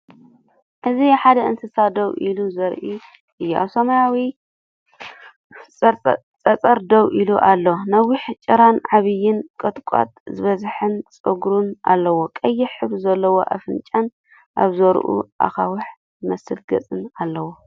እዚ ሓደ እንስሳ ደው አሉ ዘርኢ እዩ። ኣብ ሰማያዊ ጸጸር ደው ኢሉ ኣሎ፣ ነዊሕ ጭራን ዓቢን ቁጥቋጥ ዝበዝሖን ጸጉሩን ኣለዎ። ቀይሕ ሕብሪ ዘለዎ ኣፍንጫን ኣብ ዙርያኡ ኣኻውሕ ዝመስል ገጽን ኣለዎ።